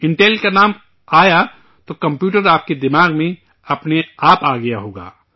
Intel کا نام آیا تو کمپیوٹر آپ کے دماغ میں اپنے آپ آ گیا ہوگا